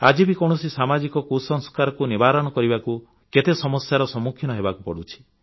ଆଜି ବି କୌଣସି ସାମାଜିକ କୁସଂସ୍କାରକୁ ନିବାରଣ କରିବାକୁ କେତେ ସମସ୍ୟାର ସମ୍ମୁଖୀନ ହେବାକୁ ପଡ଼ୁଛି